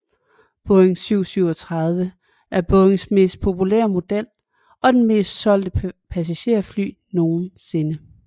Boeing 737 er Boeings mest populære model og det mest solgte passagerfly nogensinde